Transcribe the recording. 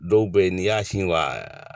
Dɔw bɛ yen n'i y'a sin wa